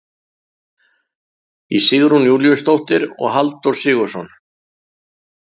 Í Sigrún Júlíusdóttir og Halldór Sig.